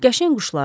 Qəşəng quşlardır.